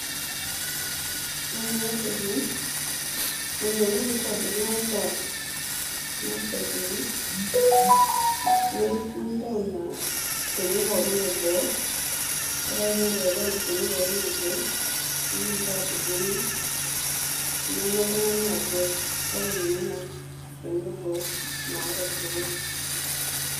Ore enatoki, enikoni tenitobiri ing'asa, ing'asa aituku, nintau inashoni pookin eboo, ore ake piidip aitau inashoni pookin eboo, idim ta atudung'o, ninya oltung'ani atua. Kake minya ena shoni eboo naata irkiku.